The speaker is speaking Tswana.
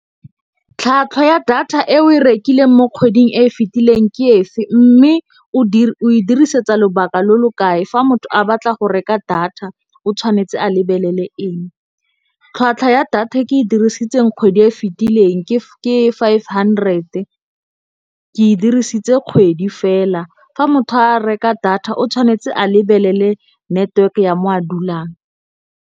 Tlhwatlhwa ya data e o e rekileng mo kgweding e e fetileng ke efe. Mme o e dirisetsa lobaka lo lo kae, fa motho a batla go reka data o tshwanetse a lebelele eng. Tlhwatlhwa ya data e ke e dirisitseng kgwedi e fitileng ke five hundred-e ke e dirisitse kgwedi fela. Fa motho a reka data o tshwanetse a lebelele network ya mo a dulang.